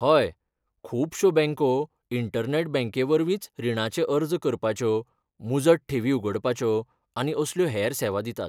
हय, खुबश्यो बँको इंटरनॅट बँकेवरवींच रिणाचे अर्ज करपाच्यो, मुजत ठेवी उगडपाच्यो आनी असल्यो हेर सेवा दितात.